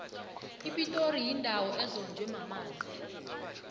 ipitori yindawo ezonjwe mamanzi